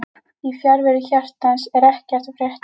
Í fjarveru hjartans er ekkert að frétta